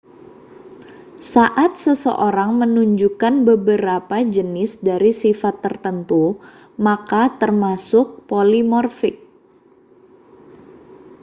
saat seseorang menunjukkan beberapa jenis dari sifat tertentu mereka termasuk polimorfik